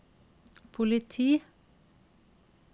politi